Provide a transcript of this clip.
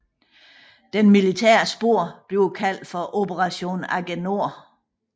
Det militære spor bliver kaldt for Operation AGENOR